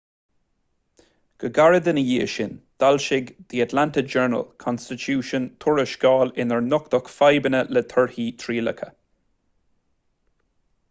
go gairid ina dhiaidh sin d'fhoilsigh the atlanta journal-constitution tuarascáil inar nochtadh fadhbanna le torthaí trialacha